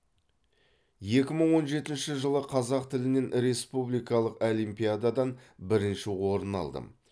екі мың он жетінші жылы қазақ тілінен республикалық олимпиададан бірінші орын алдым